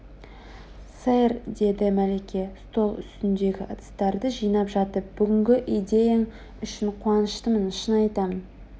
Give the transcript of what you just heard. сэр деді мәлике стол үстіндегі ыдыстарды жинап жатып бүгінгі идеяң үшін қуаныштымын шын айтам